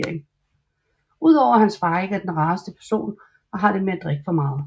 Udover at hans far ikke er den rareste person og har det med at drikke for meget